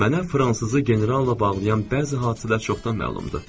Mənə fransızı generalla bağlayan bəzi hadisələr çoxdan məlumdur.